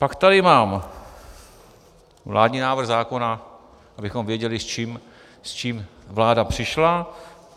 Pak tady mám vládní návrh zákona, abychom věděli, s čím vláda přišla.